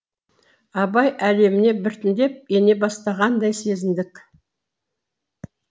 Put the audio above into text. абай әлеміне біртіндеп ене бастағандай сезіндік